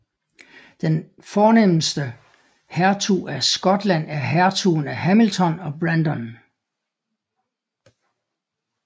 Den fornemeste hertug af Skotland er hertugen af Hamilton og Brandon